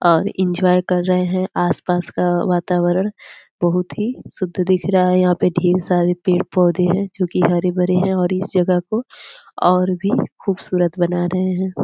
और एन्जॉय कर रहे हैं आसपास का वातावरण बहुत हीं शुद्ध दिख रहा है यहाँ पे ढेर सारे पेड़ पौधे हैं जो की हरे-भरे हैं और इस जगह को और भी खूबसूरत बना रहे हैं।